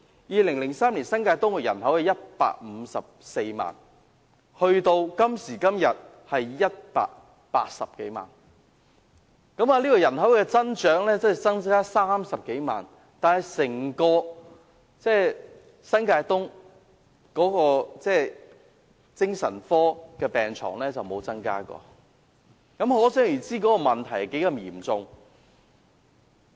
2003年，新界東人口是154萬，而今時今日的新界東人口則有180多萬，人口增長30多萬，但整個新界東的精神科病床卻沒有增加，問題可想而知有多嚴重。